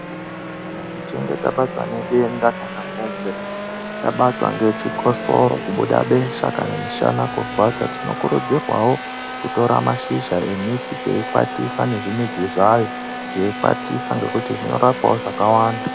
Kana tichinge tabatwa ngedenda kana kunge tabatwa ngechikosoro kubuda besha kana chikotsoro kana mushana kurwadza ,tinokurudzirwawo kora mashizha emuti teikwatisa nezvimudzi zvayo teikwatisa ngekuti zvinorapawo zvakawanda.